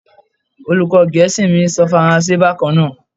Olùkó gẹ̀ẹ́sì mi ń sọ Faransé bákan náà.